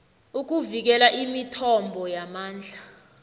ukuvikela imithombo yamandla